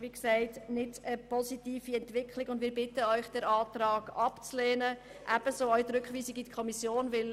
Das ist keine positive Entwicklung, und wir bitten Sie, diesen Antrag und ebenso die Rückweisung in die Kommission abzulehnen.